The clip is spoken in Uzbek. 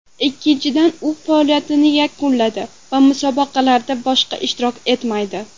Ikkinchidan, u faoliyatini yakunladi va musobaqalarda boshqa ishtirok etmaydi.